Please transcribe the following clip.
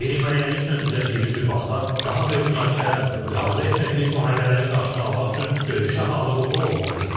Qeyri-müəyyənliklə üzləşdiyimiz bir vaxtda, daha böyük münaqişələrlə və arzu etmədiyimiz müharibələrin qarşısını almaq üçün döyüşə hazırlıqlı olmalıyıq.